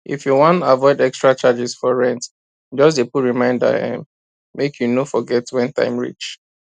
if you wan avoid extra charges for rent just dey put reminder um make you no forget when time reach